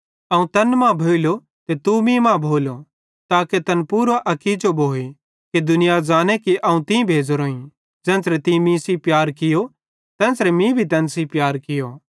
अवं तैन मां भोइलो ते तू मीं मां भोलो ताके तैन पूरो अकीजो भोए ते दुनिया ज़ांने कि तीं अवं भेज़ोरोईं ज़ेन्च़रे तीं मीं सेइं प्यार कियो तेन्च़रे तीं तैन सेइं भी प्यार कियो